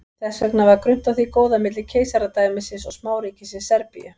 Þess vegna var grunnt á því góða milli keisaradæmisins og smáríkisins Serbíu.